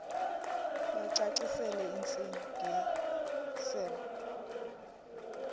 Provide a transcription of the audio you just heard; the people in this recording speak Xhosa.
bacacisele intsi ngiselo